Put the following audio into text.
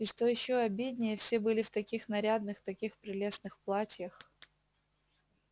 и что ещё обиднее все были в таких нарядных таких прелестных платьях